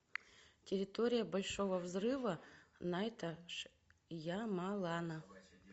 территория большого взрыва найта шьямалана